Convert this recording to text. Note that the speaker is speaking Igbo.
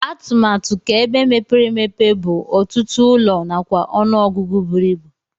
Atụmatu ka ebe mepere emepe bu ọtụtụ ụlọ nakwa ọnụ ọgụgụ buru ibụ.